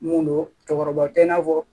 Mun don cɛkɔrɔbaw tɛ i n'a fɔ